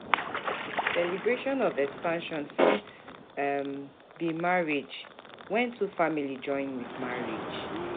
Celebration of expansion fit be marriage, when two families join with marriage